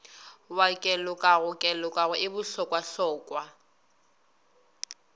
wa kelokago kelokago e bohlokwahlokwa